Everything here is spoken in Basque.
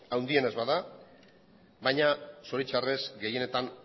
handiena ez bada baina zoritxarrez gehienetan